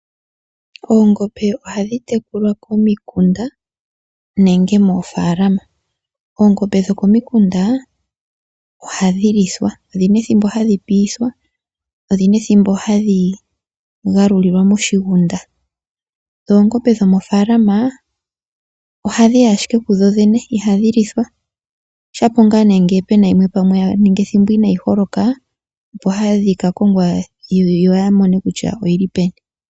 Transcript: Oongombe ohadhi tekulwa komikunda nenge mofaalama. Oongombe dhokomikunda ohadhilithwa odhina ethimbo hadhipiithwa odhina ethimbo hadhigalulilwa moshigunda. Dho oongombe dhomo faalama ohadhiyi ashike kudhodhene ihadhilithwa. Oshapo ngaa nee ngee puna yimwe inaayiholoka ohadhikakongwa yoyamone kutya oyili peni.